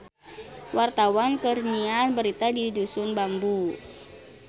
Wartawan keur nyiar berita di Dusun Bambu